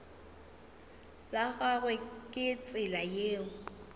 la gagwe ke tsela ye